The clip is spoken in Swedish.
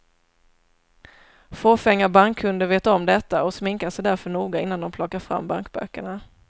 Fåfänga bankkunder vet om detta och sminkar sig därför noga innan de plockar fram bankböckerna.